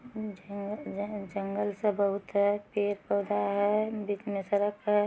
जंगल सब बहुत है पेड़-पौधा है बीच में सड़क है।